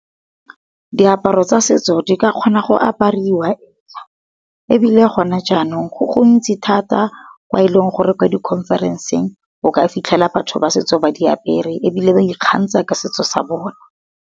Di aparo tsa setso di ka kgona go apariwa, ebile gona jaanong go go ntsi thata kwa e leng gore kwa di khonferenseng o ka fitlhela batho ba setso ba di apere ebile ba ikgantsha ka setso sa bone.